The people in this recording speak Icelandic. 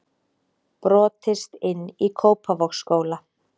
Brotist inn í Kópavogsskóla